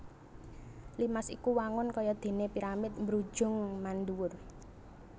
Limas iku wangun kaya déné piramid mbrujung mandhuwur